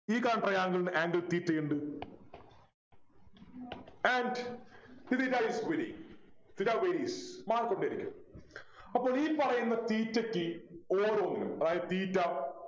ഈ കാണുന്ന Triangle നു angle theta യുണ്ട് and ഇത് ഇതായാൽ പോരെ അപ്പൊ ഈ പറയുന്ന theta ക്ക് ഓരോന്നിനും അതായത് theta